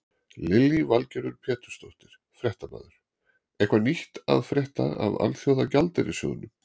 Lillý Valgerður Pétursdóttir, fréttamaður: Eitthvað nýtt að frétta af Alþjóðagjaldeyrissjóðnum?